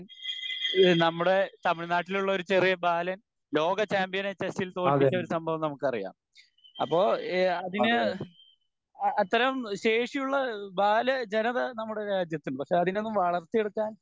ഈഹ് നമ്മുടെ തമിഴ്നാട്ടിൽ ഉള്ള ഒരു ചെറിയ ബാലൻ ലോക ചാമ്പ്യനെ ചെസ്സിൽ തോൽപിച്ച ഒരു സംഭവം നമുക്കറിയാം അപ്പൊ ഇഹ് അതിന് അത്തരം ശേഷിയുള്ള ബാല ജനത നമ്മുടെ രാജ്യത്തുണ്ട് പക്ഷെ അതിനെ ഒന്നും വളർത്തിയെടുക്കാൻ